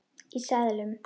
Í seðlum.